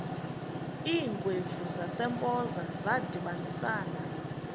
iingwevu zasempoza zadibanisana